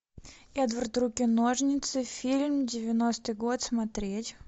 эдвард руки ножницы фильм девяностый год смотреть